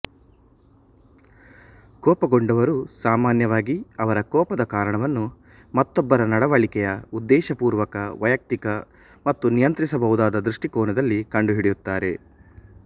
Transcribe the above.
ಕೋಪಗೊಂಡವರು ಸಾಮಾನ್ಯವಾಗಿ ಅವರ ಕೋಪದ ಕಾರಣವನ್ನು ಮತ್ತೊಬ್ಬರ ನಡವಳಿಕೆಯ ಉದ್ದೇಶಪೂರ್ವಕ ವೈಯಕ್ತಿಕ ಮತ್ತು ನಿಯಂತ್ರಿಸಬಹುದಾದ ದೃಷ್ಟಿಕೋನದಲ್ಲಿ ಕಂಡುಹಿಡಿಯುತ್ತಾರೆ